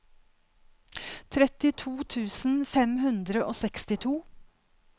trettito tusen fem hundre og sekstito